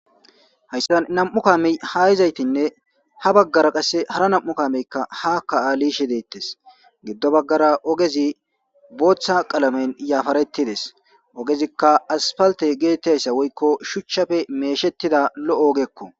hayssan nam'u kami haayizaytinne ha baggara qasse hara nam'u kameykka haka ali yishe deettes giddo baggara ogezi booththa qalamen yafarettides ogezikka aspalte geettayssa woykko shuchchafe meeshettida lo'o ogekko